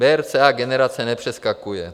BRCA generace nepřeskakuje.